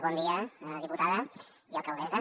bon dia diputada i alcaldessa